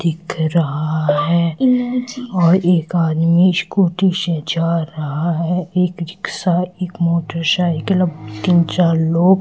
दिख रहा है एक आदमी स्कूटी से जा रहा है एक रिक्शा एक मोटरसाइकिल तीन चार लोग --